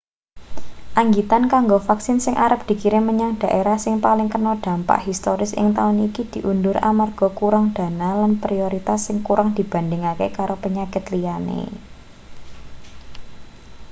anggitan kanggo vaksin sing arep dikirim menyang dhaerah sing paling kena dampak historis ing taun iki diundur amarga kurang dana lan prioritas sing kurang dibandhingake karo penyakit liyane